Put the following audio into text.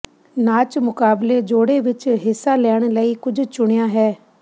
ਨਾਚ ਮੁਕਾਬਲੇ ਜੋੜੇ ਵਿੱਚ ਹਿੱਸਾ ਲੈਣ ਲਈ ਕੁਝ ਚੁਣਿਆ ਹੈ